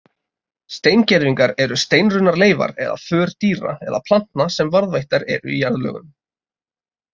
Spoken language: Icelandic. Steingervingar eru steinrunnar leifar eða för dýra eða plantna sem varðveittar eru í jarðlögum.